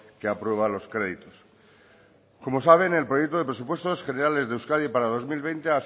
que aprueba los créditos como saben el proyecto de presupuestos generales de euskadi para dos mil veinte